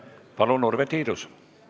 Palun, Urve Tiidus!